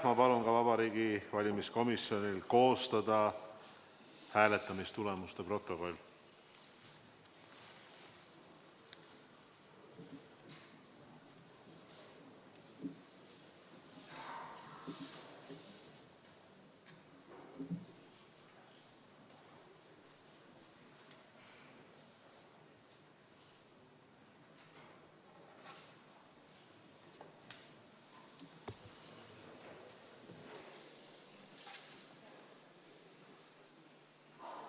Ma palun Vabariigi Valimiskomisjonil koostada ka hääletamistulemuste protokoll.